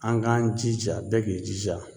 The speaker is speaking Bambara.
An k'an jija bɛɛ k'i jija